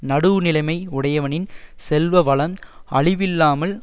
நடுவு நிலைமை உடையவனின் செல்வ வளம் அழிவில்லாமல்